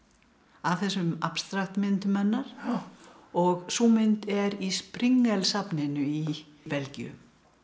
af þessum abstrakt myndum hennar og sú mynd er í safninu í Belgíu